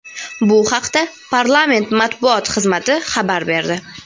Bu haqda parlament Matbuot xizmati xabar berdi.